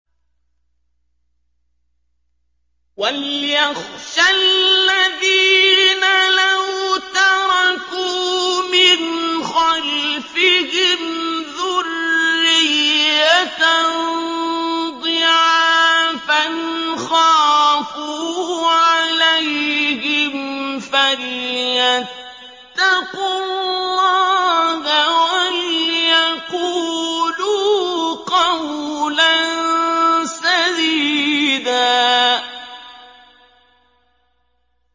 وَلْيَخْشَ الَّذِينَ لَوْ تَرَكُوا مِنْ خَلْفِهِمْ ذُرِّيَّةً ضِعَافًا خَافُوا عَلَيْهِمْ فَلْيَتَّقُوا اللَّهَ وَلْيَقُولُوا قَوْلًا سَدِيدًا